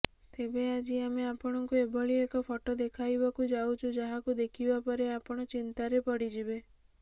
ତେବେ ଆଜି ଆମେ ଆପଣଙ୍କୁ ଏଭଳି ଏକ ଫଟୋ ଦେଖାଇବାକୁ ଯାଉଛୁ ଯାହାକୁ ଦେଖିବାପରେ ଆପଣ ଚିନ୍ତାରେ ପଡିଯିବେ